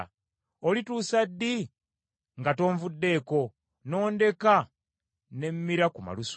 Olituusa ddi nga tonvuddeeko n’ondeka ne mmira ku malusu?